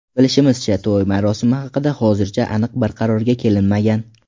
Bilishimizcha, to‘y marosimi haqida hozircha aniq bir qarorga kelinmagan.